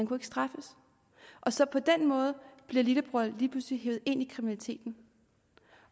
kunne straffes og så på den måde bliver lillebror lige pludselig hevet ind i kriminaliteten